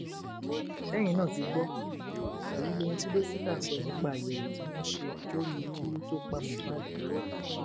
ṣẹyìn náà ti gbọ èyí lóhun tí dókítà sọ nípa àyẹwò tí wọn ṣe lórí ikú tó pa mohbad